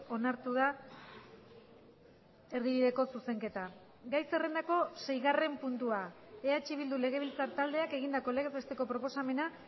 onartu da erdibideko zuzenketa gai zerrendako seigarren puntua eh bildu legebiltzar taldeak egindako legez besteko proposamena